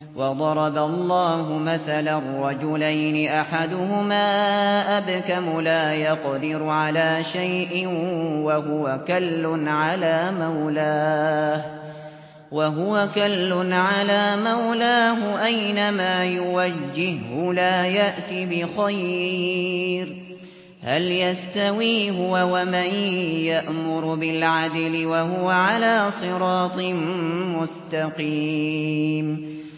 وَضَرَبَ اللَّهُ مَثَلًا رَّجُلَيْنِ أَحَدُهُمَا أَبْكَمُ لَا يَقْدِرُ عَلَىٰ شَيْءٍ وَهُوَ كَلٌّ عَلَىٰ مَوْلَاهُ أَيْنَمَا يُوَجِّههُّ لَا يَأْتِ بِخَيْرٍ ۖ هَلْ يَسْتَوِي هُوَ وَمَن يَأْمُرُ بِالْعَدْلِ ۙ وَهُوَ عَلَىٰ صِرَاطٍ مُّسْتَقِيمٍ